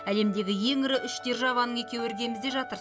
әлемдегі ең ірі үш державаның екеуі іргемізде жатыр